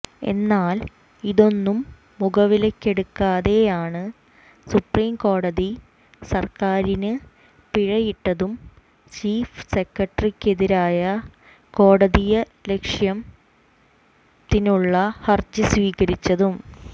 എന്നാൽ ഇതൊന്നും മുഖവിലയ്ക്കെടുക്കാതെയാണ് സുപ്രീം കോടതി സർക്കാരിന് പിഴയിട്ടതും ചീഫ് സെക്രട്ടറിക്കെതിരെ കോടതിയലക്ഷ്യത്തിനുള്ള ഹർജി സ്വീകരിച്ചതും